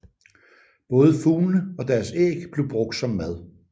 Både fuglene og deres æg blev brugt som mad